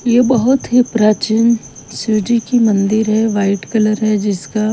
ये बहुत ही प्राचीन शिव जी की मंदिर है वाइट कलर है जिसका--